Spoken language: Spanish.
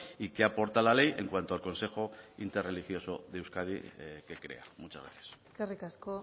y qué aporta la ley en cuanto al consejo interreligioso de euskadi que crea muchas gracias eskerrik asko